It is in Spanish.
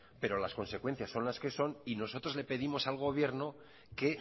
pero las consecuencias son las que son y nosotros le pedimos al gobierno que